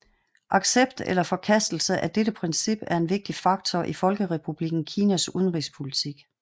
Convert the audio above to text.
Accept eller forkastelse af dette princip er en vigtig faktor i Folkerepublikken Kinas udenrigspolitik